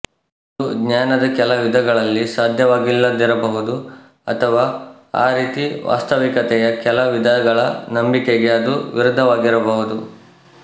ಅದು ಜ್ಞಾನದ ಕೆಲ ವಿಧಗಳಲ್ಲಿ ಸಾಧ್ಯವಾಗಿಲ್ಲದಿರಬಹುದು ಅಥವ ಆ ರೀತಿ ವಾಸ್ತವಿಕತೆಯ ಕೆಲ ವಿಧಗಳ ನಂಬಿಕೆಗೆ ಅದು ವಿರುದ್ಧವಾಗಿರಬಹುದು